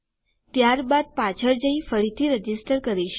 ત્યારબાદ પાછળ જઈ ફરીથી રજીસ્ટર કરીશ